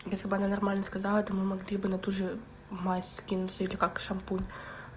если бы она нормально сказала то мы могли бы на ту же мазь скинуться или как шампунь